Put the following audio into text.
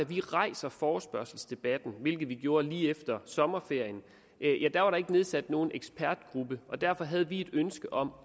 vi rejser forespørgselsdebatten hvilket vi gjorde lige efter sommerferien var der ikke nedsat nogen ekspertgruppe og derfor havde vi et ønske om